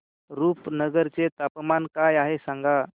रुपनगर चे तापमान काय आहे सांगा